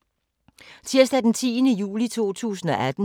Tirsdag d. 10. juli 2018